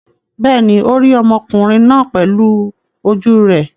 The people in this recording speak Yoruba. Bẹ́ẹ̀ ni, ó rí ọmọkùnrin náà pẹ̀lú ojú rẹ̀.